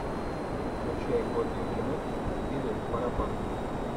включай годный фильмок в стиле паропанка